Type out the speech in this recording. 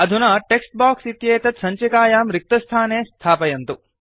अधुना text box इत्येतत् सञ्चिकायां रिक्तस्थाने स्थापयन्तु